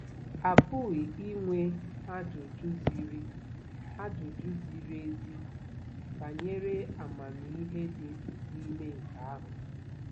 A pụghị inwe ajụjụ ziri ajụjụ ziri ezi banyere amamihe dị n'ime nke ahụ.